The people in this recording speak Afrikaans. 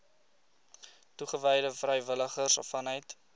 toegewyde vrywilligers vanuit